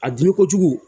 A dimi kojugu